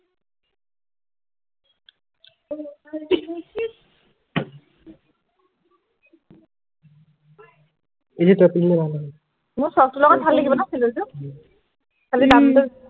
এইটো তপ টো দিলে ভাল হব মোৰ ফ্ৰক টোৰ লগত ভাল লাগিব ন চেণ্ডেল যোৰ উম আজি যাম দেই